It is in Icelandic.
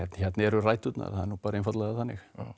eru ræturnar það er nú bara einfaldlega þannig